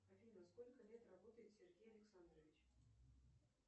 афина сколько лет работает сергей александрович